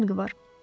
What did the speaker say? Nə fərqi var?